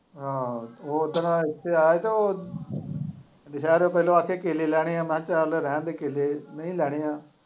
ਹਾਂ ਉਹ ਉਸ ਦਿਨ ਇੱਥੇ ਆਇਆ ਹੀ ਤੇ ਉਹ ਵਾਸਤੇ ਕੇਲੇ ਲੈਣੇ ਹੈ ਮੈਂ ਕਿਹਾ ਚੱਲ ਰਹਿਣ ਦੇ ਕੇਲੇ ਨਹੀਂ ਲੈਣੇ ਹੈ।